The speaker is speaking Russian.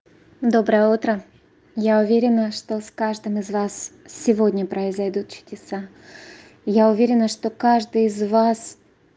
доброе утро я уверена что с каждым из вас сегодня произойдут чудеса я уверена что каждый из вас